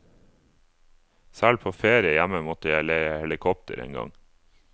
Selv på ferie hjemme måtte jeg leie helikopter en gang.